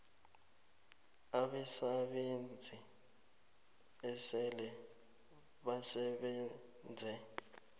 abasebenzi esele basebenze